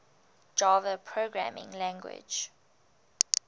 java programming language